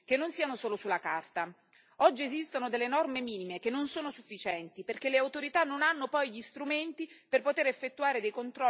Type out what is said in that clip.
Oggi esistono norme minime che non sono sufficienti perché le autorità non hanno poi gli strumenti per poter effettuare controlli veritieri e sicuri.